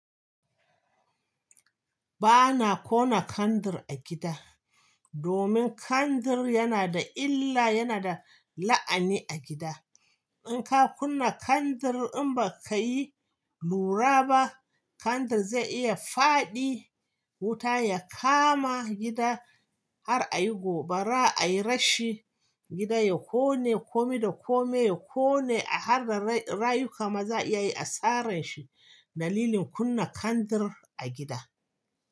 Ba na ƙona kandir a gida, domin kandir yana da illa, yana da la'ani a gida. In ka kunna kandir in ba ka yi lura ba, kandir zai iya faɗi wuta ya kama gida har a yi gobara, a yi rashi, gida ya ƙone, kome da kome ya ƙone har da rayuka ma za a iya yi asaran shi. Dalilin kunna kandir a gida.